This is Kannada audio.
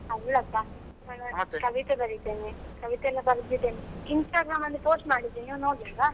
ಅಲ್ಲಪ್ಪ ನಾನು ಕವಿತೆ ಬರಿತೆನೆ ಕವಿತೆಯೆಲ್ಲ ಬರ್ದಿದ್ದೆನೆ Instagram ಅಲ್ಲಿ post ಮಾಡಿದ್ದೆ ನೀವು ನೋಡ್ಲಿಲ್ವಾ?